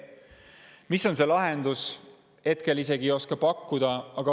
Mis on see lahendus, ma ei oska hetkel isegi pakkuda.